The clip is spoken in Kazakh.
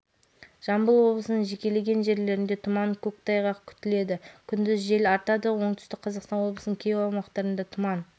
маңғыстау облысының кей жерлерінде тұман күндіз кей жерлерінде көктайғақ болуы ықтимал ақтөбе облысының кей жерлерінде жаяу